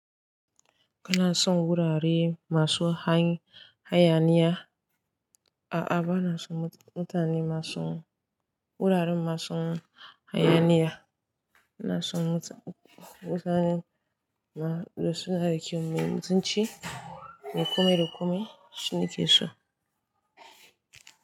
Kana son wurare masu hayaniya, A'a ba na son mutane masu wurare masu hayaniya, ina son mutane masu da sunariki, me mutunci, me kome da kome shine ke so.